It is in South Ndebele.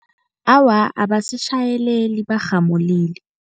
Awa, abasitjhayeleli barhamulile.